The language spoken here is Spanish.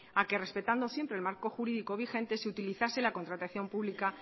a que respetando siempre el marco jurídico vigente se utilizase la contratación pública